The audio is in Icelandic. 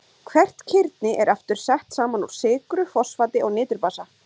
Hvert kirni er aftur sett saman úr sykru, fosfati og niturbasa.